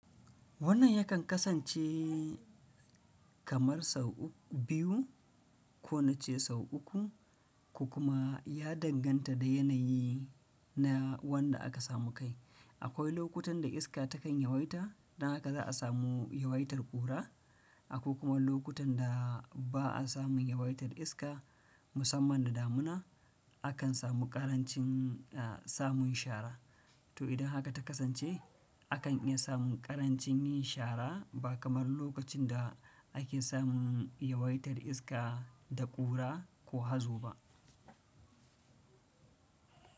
Wannan yakan kasance kamar sau biyu ko nace sau uku, ko kuma ya danganta da yanayi na wanda aka samu kai. Akwai lokutan da iska takan yawaita, dan haka za a samu yawaitar ƙura, akwai kuma lokutan da ba a samun yawaitar iska musamman da damuna, akan samu ƙarancin samun shara. To idan haka ta kasance, akan iya samun ƙarancin yin shara ba kamar lokacin da ake samun yawaitar iska da ƙura ko hazo ba.